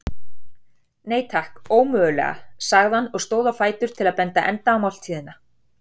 Nei, takk, ómögulega sagði hann og stóð á fætur til að binda enda á máltíðina.